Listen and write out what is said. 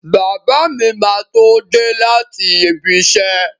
Bàbá mi máa tó dé láti ibiṣẹ́.